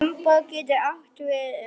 Limbó getur átt við um